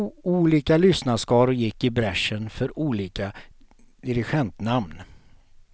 Olika lyssnarskaror gick i bräschen för olika dirigentnamn.